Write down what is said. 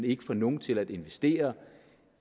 ikke får nogen til at investere